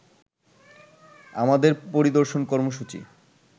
আমাদের পরিদর্শন কর্মসূচি